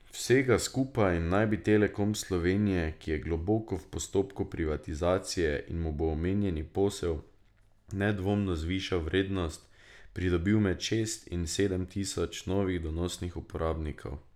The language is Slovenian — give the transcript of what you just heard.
Vsega skupaj naj bi Telekom Slovenije, ki je globoko v postopku privatizacije in mu bo omenjeni posel nedvomno zvišal vrednost, pridobil med šest in sedem tisoč novih donosnih uporabnikov.